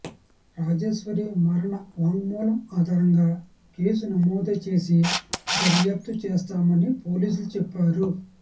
రాజేశ్వరి మరణ వాంగ్మూలం ఆధారంగా కేసు నమోదు చేసి దర్యాప్తు చేస్తామని పోలీసులు చెప్పారు